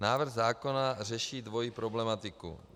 Návrh zákona řeší dvojí problematiku.